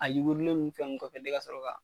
A yugurilen n fɛn n kɔfɛ de kasɔrɔ ka